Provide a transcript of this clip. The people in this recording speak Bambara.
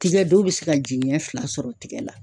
Tigɛ dɔw bɛ se ka jiɲɛ fila sɔrɔ tigɛ la.